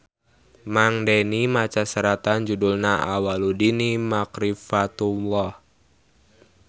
Mang Deni maca seratan judulna Awwaluddini Makrifatullah